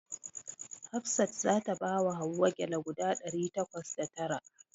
Hafsat za ta bawa Hauwa gyale guda ɗari takwas da tara.